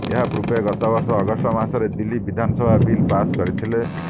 ଏହାପୂର୍ବେ ଗତ ବର୍ଷ ଅଗଷ୍ଟ ମାସରେ ଦିଲ୍ଲୀ ବିଧାନସଭା ବିଲ ପାସ କରିଥିଲେ